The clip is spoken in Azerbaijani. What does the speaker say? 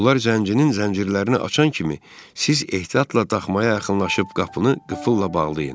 Onlar zəncirin zəncirlərini açan kimi siz ehtiyatla daxmaya yaxınlaşıb qapını qıfılla bağlayın.